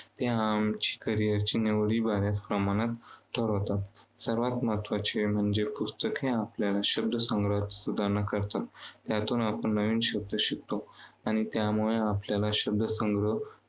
ते आमच्या करिअरच्या निवडी बऱ्याच प्रमाणात ठरवतात. सर्वांत महत्त्वाचे म्हणजे पुस्तके आपला शब्दसंग्रह सुधारणा करतात. त्यातून आपण नवीन शब्द शिकतो. आणि त्यामुळे आपल्याला शब्दसंग्रह